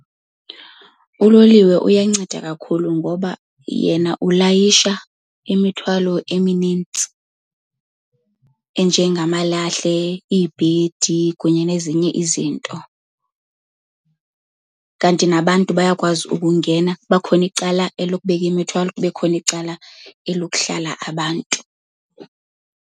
Uloliwe uyanceda kakhulu ngoba yena ulayisha imithwalo eminintsi enjengamalahle, iibhedi kunye nezinye izinto. Kanti nabantu bayakwazi ukungena, kuba khona icala elokubeka imithwalo kube khona icala elokuhlala abantu.